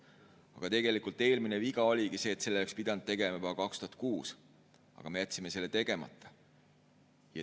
Aga eelmine viga oligi olnud see, et selle oleks pidanud tegema juba 2006, aga me jätsime selle tegemata.